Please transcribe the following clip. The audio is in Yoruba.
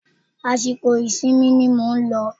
Àsìkò ìsinmi ni mò ń lọ